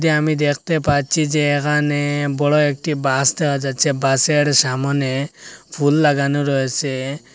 আমি দ্যাখতে পাচ্ছি যে এখানে বড় একটি বাস দেখা যাচ্ছে বাসের সামনে ফুল লাগানো রয়েছে।